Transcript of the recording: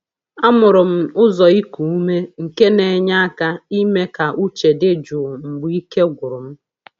Amụrụ m ụzọ iku ume nke na-enye aka ime ka uche dị jụụ mgbe ike gwụrụ m.